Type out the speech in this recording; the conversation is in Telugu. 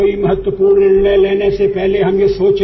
కర్ గిల్ యుద్ధం మనకు రెండో సూత్రాన్ని కూడా చెప్తోంది